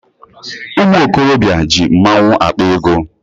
Ụmụ okorobịa ji mmaọnwụ akpa ego.